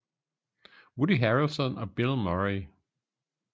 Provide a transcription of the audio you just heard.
Woody harrelson og bill murray